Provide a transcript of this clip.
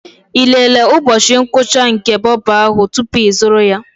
Ị lelee ụbọchị ngwụcha nke bobo ahụ tupu ịzụrụ ya?